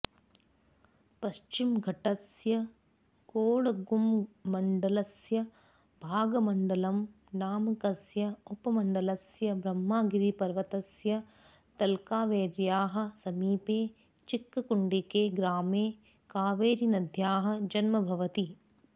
पश्चिमघट्टस्य कोडगुमण्डलस्य भागमण्डलम् नामकस्य उपमण्डलस्य ब्रह्मगिरिपर्वतस्य तलकावेर्याः समीपे चिक्ककुण्डिके ग्रामे कावेरीनद्याः जन्म भवति